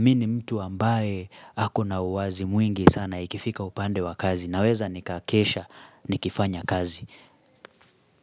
Mimi mtu ambaye ako na uwazi mwingi sana ikifika upande wa kazi Naweza nikakesha nikifanya kazi.